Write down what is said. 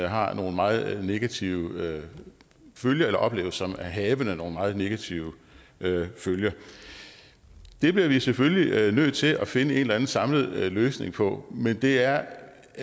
har nogle meget negative følger eller opleves som havende nogle meget negative følger det bliver vi selvfølgelig nødt til at finde en eller anden samlet løsning på men det er